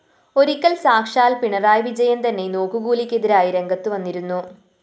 ഒരിക്കല്‍ സാക്ഷാല്‍ പിണറായി വിജയന്‍ തന്നെ നോക്കുകൂലിക്കെതിരായി രംഗത്തുവന്നിരുന്നു